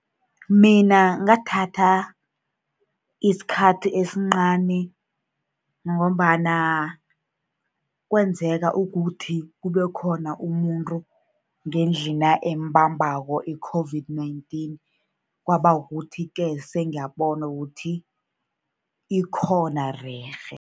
Mina ngathatha isikhathi esincani, ngombana kwenzeka ukuthi kube khona umuntu ngendlina emubambako i-COVID-19. Kwaba kukuthi-ke, sengiyakubona ukuthi ikhona rerhe.